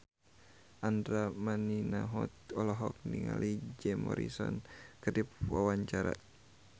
Andra Manihot olohok ningali Jim Morrison keur diwawancara